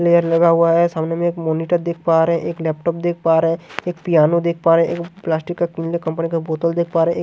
Layer लगा हुआ है सामने में एक मॉनिटर देख पा रहे हैं एक लैपटॉप देख पा रहे हैं एक पियानो देख पा रहे हैं एक प्लास्टिक का कंपनी का बोतल देख पा रहे हैं।